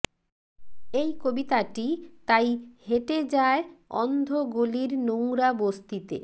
এই কবিতাটি তাই হেঁটে যায় অন্ধ গলির নোংরা বস্তিতে